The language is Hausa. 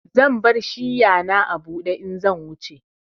Zan bar shiya na a bude in zan wuce.